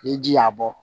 Ni ji y'a bɔ